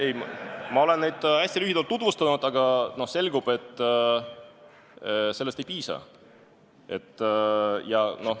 Ei, asi on selles, et ma olen muudatusettepanekuid hästi lühidalt tutvustanud, aga selgub, et sellest ei piisa.